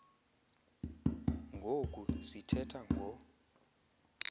ngoku sithetha ngo